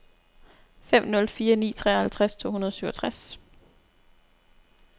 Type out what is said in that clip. fem nul fire ni treoghalvtreds to hundrede og syvogtres